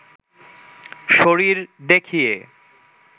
শরীর দেখিয়ে